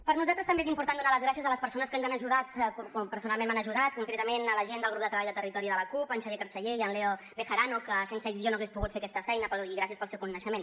per nosaltres també és important donar les gràcies a les persones que ens han ajudat que personalment m’han ajudat concretament la gent del grup de treball de territori de la cup en xavier carceller i en leo bejarano que sense ells jo no hagués pogut fer aquesta feina i gràcies pel seu coneixement